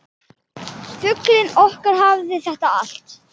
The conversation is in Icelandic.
Fuglinn okkar hafði þetta allt.